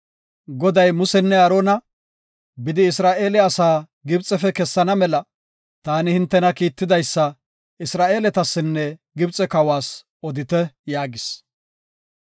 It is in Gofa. Goday Musenne Aarona, “Bidi, Isra7eela asaa Gibxefe kessana mela, taani hintena kiitidaysa Isra7eeletasinne Gibxe kawas odite” yaagis.